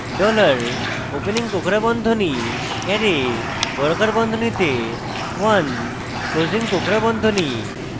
dollar opening কোঁকড়া বন্ধনী array বর্গাকার বন্ধনীতে 1 closing কোঁকড়া বন্ধনী